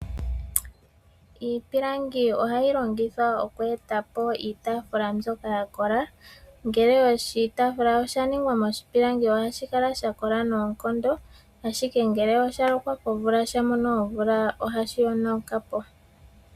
Iipilangi ohayi longithwa oku etapo iitaafula mbyoka ya kola. Oshitaafula ngele oshaningwa miipilangi ohashi kala shakola noonkondo ashike ngele osha lokwa komvula, sha mono omvula ohashi yonuka po.